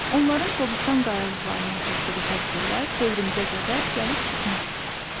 Onların Qobustan qayalıqlarına cızdığı təsvirlər dövrümüzə qədər gəlib çıxmışdı.